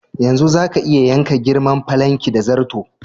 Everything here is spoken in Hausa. Yanzu zaka iya yanka girman falankin da zarto.